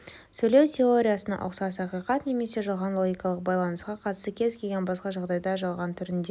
сөйлеу теориясына ұқсас ақиқат немесе жалған логикалық байланысқа қатысты кез-келген басқа жағдайда жалған түрінде